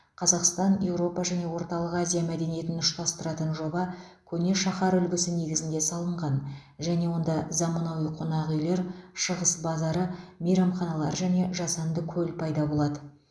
қазақстан еуропа және орталық азия мәдениетін үштастыратын жоба көне шаһар үлгісі негізінде салынған және онда заманауи қонақүйлер шығыс базары мейрамханалар және жасанды көл пайда болады